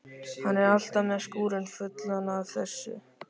Hann er alltaf með skúrinn fullan af þessu.